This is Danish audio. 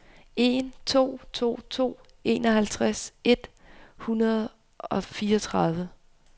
en to to to enoghalvtreds et hundrede og fireogtredive